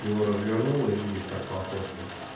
его развернуло видишь как по фотке